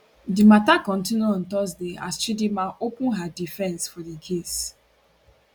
di mata kontinu on thursday as chidinma open her defence for di case